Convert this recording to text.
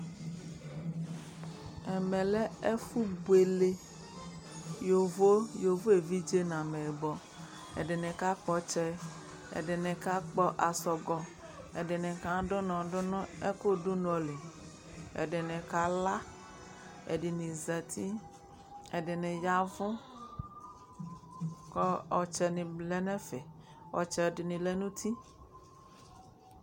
Ɛmɛ lɛ ɛfʋbuele, yovo evidze nʋ ameyɩbɔ Ɛdɩnɩ kakpɔ ɔtsɛ, ɛdɩnɩ kakpɔ asɔgɔ, ɛdɩnɩ kadʋ ʋnɔ dʋ nʋ ɛkʋdʋnɔ li, ɛdɩnɩ kala, ɛdɩnɩ zati, ɛdɩnɩ ya ɛvʋ kʋ ɔtsɛnɩ lɛ nʋ ɛfɛ Ɔtsɛ dɩnɩ lɛ nʋ uti